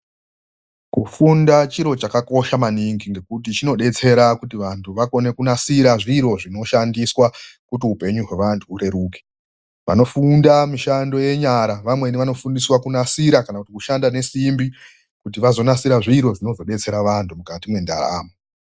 Kufunda chiro chakakosha maningi ngekuti chinodetsera kuti vanthu vakone kunasira zviro zvinoshandiswa kuti upenyu hwevanthu hureruke. Vanofunda mishando yenyara vamweni vanofundiswa kunasira kana kuti kushanda nesimbi kuti vazonasira zviro zvinozodetsera vanhtu mukati mwendaramo.